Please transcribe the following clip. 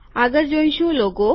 આગળ જોઈશું લોગો